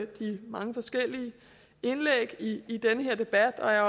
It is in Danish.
de mange forskellige indlæg i den her debat og jeg